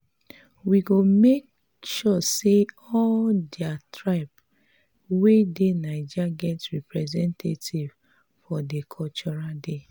we go make sure sey all di tribes wey dey naija get representatives for di cultural day.